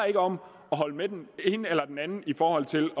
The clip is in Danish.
ikke om at holde med den ene eller den anden i forhold til